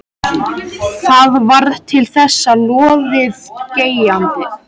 Það varð til þess að lóðið geigaði.